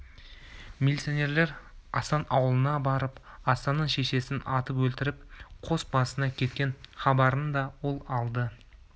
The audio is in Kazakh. милиционерлер асан аулына барып асанның шешесін атып өлтіріп қос басына кеткен хабарын да ол алды